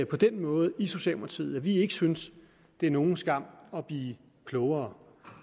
på den måde i socialdemokratiet at vi ikke synes det er nogen skam at blive klogere